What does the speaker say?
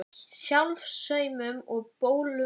Sjálfsaumkun og bölmóður voru viðlag þessa napra haustdags.